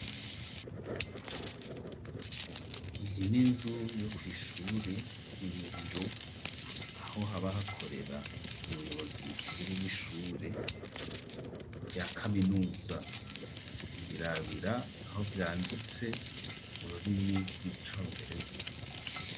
Iyi n'inzu yo kw'ishure, ni mubiro ,aho haba hakorera umuyobozi mukuru w'ishure rya kaminuza ,ubirabira aho vyanditse mururimi rw'icongereza.